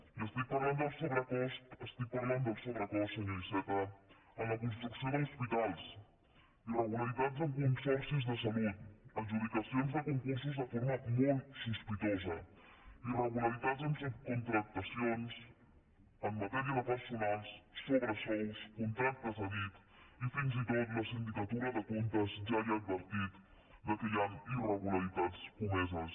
i estic parlant del sobrecost senyor iceta en la construcció d’hospitals irregularitats en consorcis de salut adjudicacions de concursos de forma molttacions en matèria de personal sobresous contractes a dit i fins i tot la sindicatura de comptes ja ha advertit que hi han irregularitats comeses